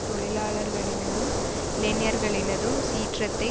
தொழிலாளர்களினதும் இளைஞர்களினதும் சீற்றத்தை